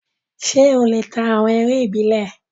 Ṣé ó lè ta awọn eré ìbílẹ̀?